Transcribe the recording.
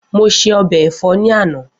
Mo ṣe ọbẹ̀ ẹ̀fọ́ ní àná